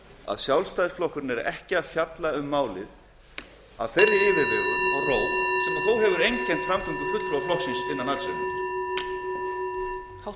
að sjálfstæðisflokkurinn er ekki að fjalla um málið af þeirri yfirvegun og ró sem þó hefur einkennt fulltrúa flokksins í allsherjarnefnd